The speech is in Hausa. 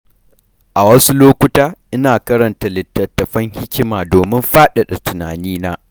A wasu lokuta, ina karanta littattafan hikima domin faɗaɗa tunanina.